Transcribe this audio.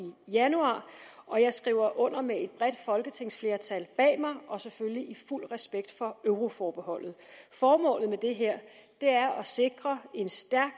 januar og jeg skriver under med et bredt folketingsflertal bag mig og selvfølgelig i fuld respekt for euroforbeholdet formålet med det her er at sikre en stærk